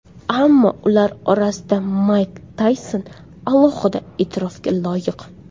Ammo ular orasida Mayk Tayson alohida e’tirofga loyiq.